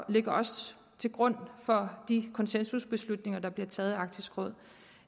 ligger også til grund for de konsensusbeslutninger der bliver taget i arktisk råd